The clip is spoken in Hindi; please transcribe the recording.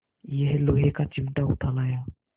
यह लोहे का चिमटा उठा लाया